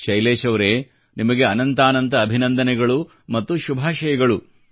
ಶೈಲೇಶ್ ಅವರೇ ನಿಮಗೆ ಅನಂತಾನಂತ ಅಭಿನಂದನೆಗಳು ಮತ್ತು ಶುಭಾಶಯಗಳು